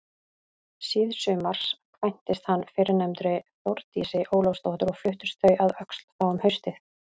Síðsumars kvæntist hann fyrrnefndri Þórdísi Ólafsdóttur og fluttust þau að Öxl þá um haustið.